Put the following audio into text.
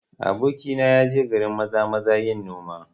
Abokina ya je garin Maza-maza yin noma